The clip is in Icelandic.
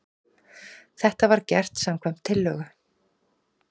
Þetta var gert samkvæmt tillögu